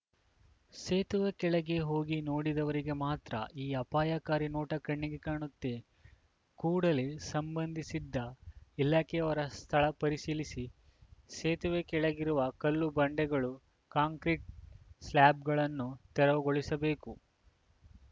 ಸೇತುವೆ ಕೆಳಗೆ ಹೋಗಿ ನೋಡಿದವರಿಗೆ ಮಾತ್ರ ಈ ಆಪಾಯಕಾರಿ ನೋಟ ಕಣ್ಣಿಗೆ ಕಾಣುತ್ತೆ ಕೂಡಲೇ ಸಂಬಂಧಿಸಿದ ಇಲಾಖೆಯವರು ಸ್ಥಳ ಪರಿಶೀಲಿಸಿ ಸೇತುವೆ ಕೆಳಗಿರುವ ಕಲ್ಲು ಬಂಡೆಗಳು ಕಾಂಕ್ರಿಟ್‌ ಸ್ಲೇಬ್ ಗಳನ್ನು ತೆರವುಗೊಳಿಸಬೇಕು